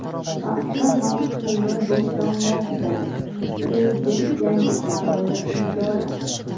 Paxta mavsumi boshlanmoqda: Prezident yangi qarorni imzoladi.